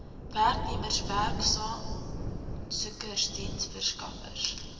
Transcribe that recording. werknemers werksaansoekers diensverskaffers